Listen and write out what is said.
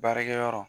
Baarakɛyɔrɔ